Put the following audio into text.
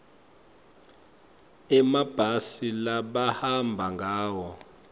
emabhasi labahamba ngawo